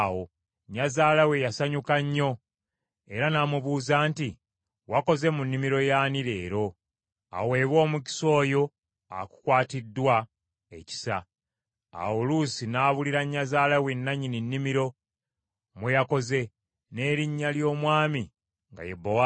Nnyazaala we yasanyuka nnyo, era n’amubuuza nti, “Wakoze mu nnimiro y’ani leero? Aweebwe omukisa oyo akukwatiddwa ekisa!” Awo Luusi n’abuulira nnyazaala we nannyini nnimiro mwe yakoze, n’erinnya ly’omwami nga ye Bowaazi.